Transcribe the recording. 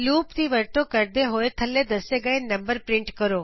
loop ਦੀ ਵਰਤੋਂ ਕਰਦੇ ਹੋਏ ਥੱਲੇ ਦੱਸੇ ਗਏ ਨੰਬਰ ਪ੍ਰਿੰਟ ਕਰੋ